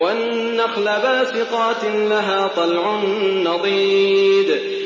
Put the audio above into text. وَالنَّخْلَ بَاسِقَاتٍ لَّهَا طَلْعٌ نَّضِيدٌ